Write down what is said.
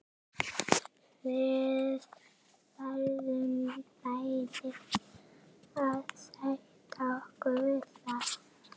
Gísli Óskarsson: Hefurðu komið hérna áður og litið yfir afköstin?